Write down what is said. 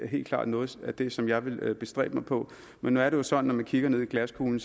helt klart noget af det som jeg vil bestræbe mig på men nu er det jo sådan at kigger ind i glaskuglen